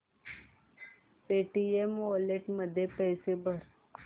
Paytm wallet मध्ये पैसे भर